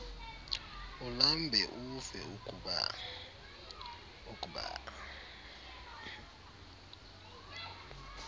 ulambe ufe ukba